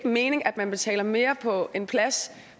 mening at man betaler mere for en plads